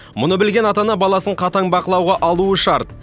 мұны білген ата ана баласын қатаң бақылауға алуы шарт